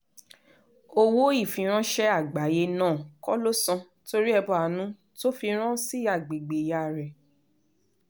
owó ìfiránṣẹ́ àgbáyé náà kọ́ ló san torí ẹbọ àánú tó fi rán sí agbègbè ìyá rẹ̀